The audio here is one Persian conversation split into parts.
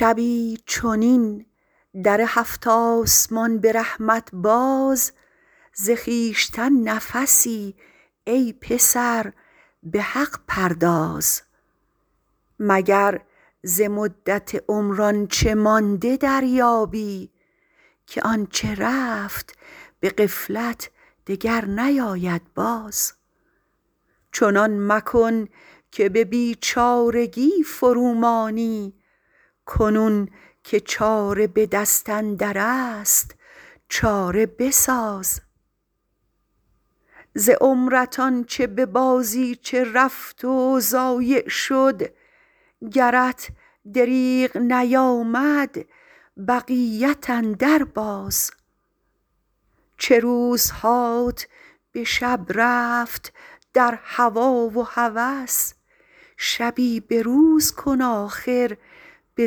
شبی چنین در هفت آسمان به رحمت باز ز خویشتن نفسی ای پسر به حق پرداز مگر ز مدت عمر آنچه مانده دریابی که آنچه رفت به غفلت دگر نیاید باز چنان مکن که به بیچارگی فرومانی کنون که چاره به دست اندرست چاره بساز ز عمرت آنچه به بازیچه رفت و ضایع شد گرت دریغ نیامد بقیت اندر باز چه روزهات به شب رفت در هوا و هوس شبی به روز کن آخر به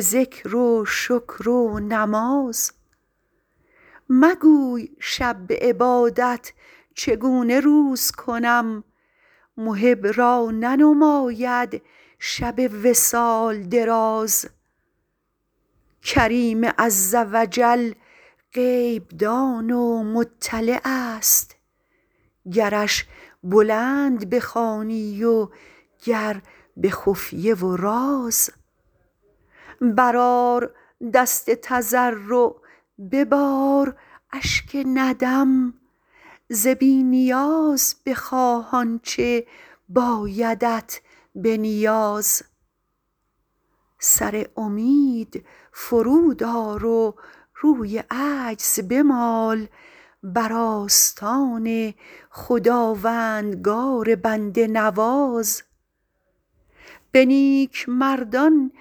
ذکر و شکر و نماز مگوی شب به عبادت چگونه روز کنم محب را ننماید شب وصال دراز کریم عزوجل غیب دان و مطلعست گرش بلند بخوانی و گر به خفیه و راز برآر دست تضرع ببار اشک ندم ز بی نیاز بخواه آنچه بایدت به نیاز سر امید فرود آر و روی عجز بمال بر استان خداوندگار بنده نواز به نیکمردان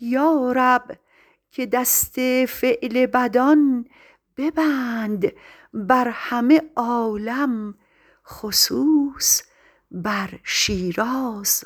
یارب که دست فعل بدان ببند بر همه عالم خصوص بر شیراز